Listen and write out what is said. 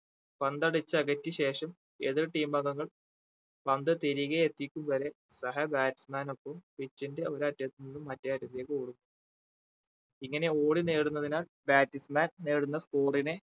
പന്ത് അടിച്ച് അകറ്റി ശേഷം എതിർ team അംഗങ്ങൾ പന്ത് തിരികെ എത്തിക്കും വരെ സഹ batsman നൊപ്പം pitch ന്റെ ഒരറ്റത്ത് നിന്ന് മറ്റേ അറ്റത്തേക്ക് ഓടും ഇങ്ങനെ ഓടി നേടുന്നതിനാൽ batsman നേടുന്ന score നെ